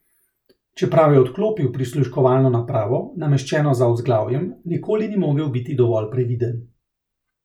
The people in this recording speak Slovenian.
Čeprav je odklopil prisluškovalno napravo, nameščeno za vzglavjem, nikoli ni mogel biti dovolj previden.